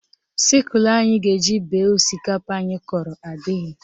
Sịkulụ anyị ga-eji bee osikapa anyị kọrọ adịghị